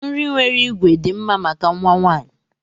Nri nwere ígwè dị mma maka nwa nwanyị.